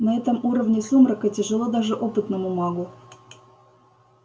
на этом уровне сумрака тяжело даже опытному магу